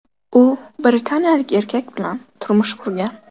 U britaniyalik erkak bilan turmush qurgan.